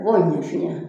I b'o ɲɛ fiɲɛ